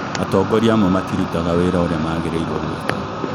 Atongoria amwe matirutaga wĩra ũrĩa magĩrĩirwo gũĩka